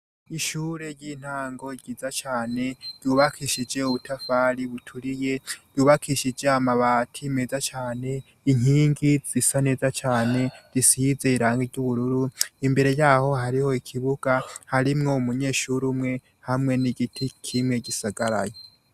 Ishure ry'intango ryiza cane yubakishije ubutafari buturiye yubakishije amabati meza cane inkingi zisa neza cane risiyizeye iranga ry'ubururu imbere yaho hariho ikibuga harimwo mu munyeshuru umwe hamwe n'igiti kimwe gisagaranyo.